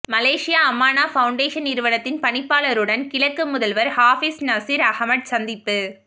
Malaysia Amana foundation நிறுவனத்தின் பணிப்பாளருடன் கிழக்கு முதல்வர் ஹாபிஸ் நசீர் அஹமட் சந்திப்பு